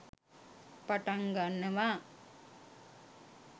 පටන් ගන්නවා.